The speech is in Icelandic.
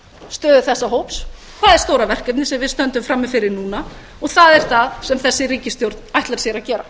stöðu þessa hóps það er stóra verkefnið sem við stöndum frammi fyrir núna og það er það sem þessi ríkisstjórn ætlar sér að gera